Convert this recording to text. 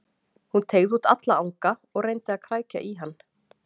Hún teygði út alla anga og reyndi að krækja í hann.